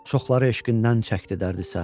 Çoxları eşqindən çəkdi dərdü-sər.